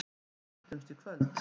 Við hittumst í kvöld.